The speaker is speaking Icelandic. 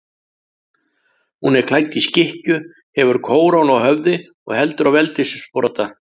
Hún er klædd í skikkju, hefur kórónu á höfði og heldur á veldissprota.